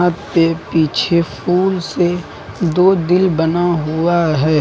छत पे पीछे फूल से दो दिल बना हुआ है।